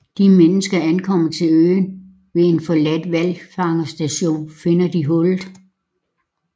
Da menneskene ankommer til øen ved en forladt hvalfangerstation finder de hullet